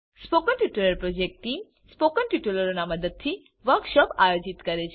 spoken tutorial project team spoken ટ્યુટોરીયલોનાં ઉપયોગથી વર્કશોપોનું આયોજન કરે છે